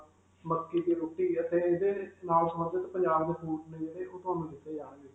ਮੱਕੀ ਦੀ ਰੋਟੀ ਅਤੇ ਇਹਦੇ ਨਾਲ ਸੰਬੰਧਿਤ ਪੰਜਾਬ ਦੇ food ਨੇ ਜਿਹੜੇ ਉਹ ਤੁਹਾਨੂੰ ਦਿੱਤੇ ਜਾਣਗੇ.